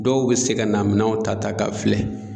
Dɔw bɛ se ka na minɛnw ta ta k'a filɛ.